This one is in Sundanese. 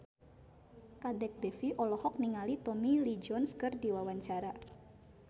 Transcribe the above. Kadek Devi olohok ningali Tommy Lee Jones keur diwawancara